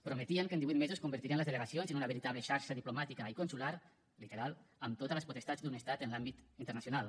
prometien que en divuit mesos convertirien les delegacions en una veritable xarxa diplomàtica i consular literal amb totes les potestats d’un estat en l’àmbit internacional